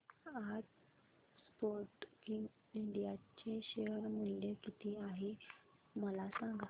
आज Sportking India चे share मूल्य किती आहे मला सांगा